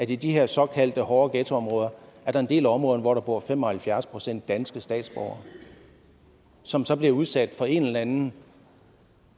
i de her såkaldte hårde ghettoområder er en del områder hvor der bor fem og halvfjerds procent danske statsborgere som så bliver udsat for en eller anden